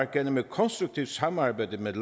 gennem et konstruktivt samarbejde med